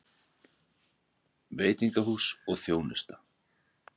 VEITINGAHÚS OG ÞJÓNUSTA